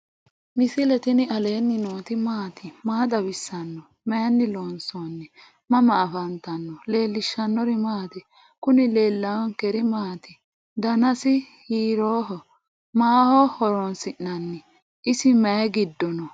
misile tini alenni nooti maati? maa xawissanno? Maayinni loonisoonni? mama affanttanno? leelishanori maati? kuuni leelawonkeri maati? danazi hiroho? maaho hoeonsi'nani? isi mayi gido no?